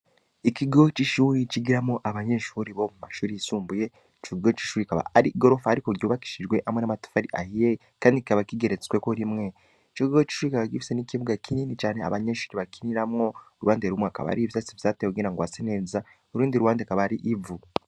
Ikigo c'ishuri cigiramo abanyenshuri bo mu mashuri yisumbuye ickigigo c'ishuri kaba ari i gorofa, ariko ryubakishijwe hamwe n'amatufa ari ahiyel, kandi kaba kigeretsweko rimwe ikiigoggo c'ichuri kaba gifise n'ikibuga kinini cane abanyenshuri bakiniramwo ruande rumwe akaba ari ivyasi vyateekugena ngo ase neza urundi ruwande akaba ari ivu.